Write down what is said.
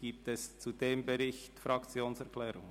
Gibt es zu diesem Bericht Fraktionserklärungen?